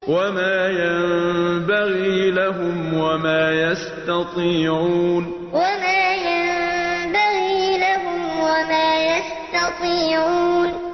وَمَا يَنبَغِي لَهُمْ وَمَا يَسْتَطِيعُونَ وَمَا يَنبَغِي لَهُمْ وَمَا يَسْتَطِيعُونَ